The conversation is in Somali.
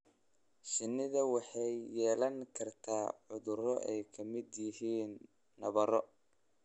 Shinnidu waxay yeelan kartaa cudurro ay ka mid yihiin nabarro.